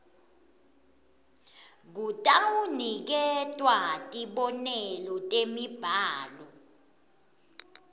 kutawuniketwa tibonelo temibhalo